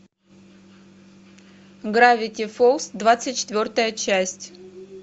гравити фолз двадцать четвертая часть